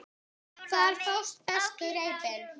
Hvar fást bestu reipin?